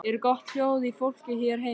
Er gott hljóð í fólki hér heima?